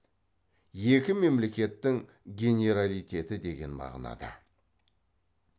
екі мемлекеттің генералитеті деген мағынада